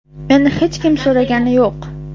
Meni hech kim so‘ragani yo‘q.